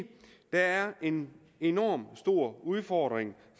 der er en enorm stor udfordring